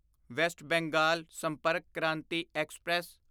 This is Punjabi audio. West Bengal Sampark Kranti express